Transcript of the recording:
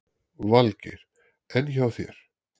Valgeir: En hjá þér?